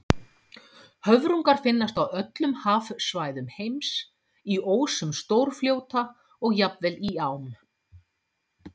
Höfrungar finnast á öllum hafsvæðum heims, í ósum stórfljóta og jafnvel í ám.